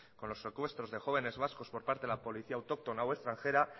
con los secuestros de jóvenes vascos por parte de la policía autóctona o extranjera